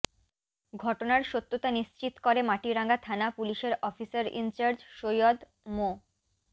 ঘটনার সত্যতা নিশ্চিত করে মাটিরাঙ্গা থানা পুলিশের অফিসার ইনচার্জ সৈয়দ মো